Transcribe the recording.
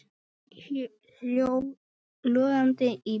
Fólk hljóp logandi í burtu.